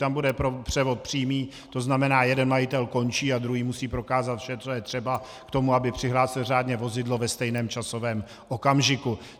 Tam bude převod přímý, to znamená jeden majitel končí a druhý musí prokázat vše, co je třeba k tomu, aby přihlásil řádně vozidlo ve stejném časovém okamžiku.